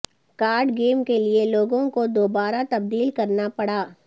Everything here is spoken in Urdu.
کارڈ گیم کے لئے لوگو کو دوبارہ تبدیل کرنا پڑا